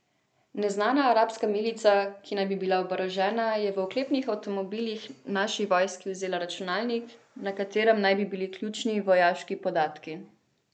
Neznana arabska milica, ki naj bi bila oborožena, je iz oklepnih avtomobilov naši vojski vzela računalnik, na katerem naj bi bili ključni vojaški podatki.